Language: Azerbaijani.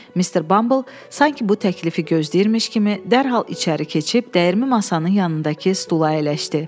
Mister Bumble sanki bu təklifi gözləyirmiş kimi dərhal içəri keçib dəyirmi masanın yanındakı stula əyləşdi.